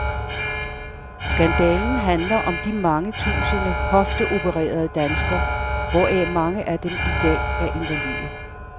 Skandalen handler om de mange tusinde hofteopererede danskere, hvoraf mange af dem i dag er invalide.